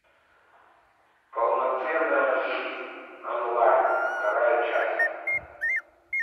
полноценная жизнь онлайн вторая часть